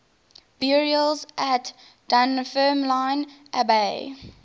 burials at dunfermline abbey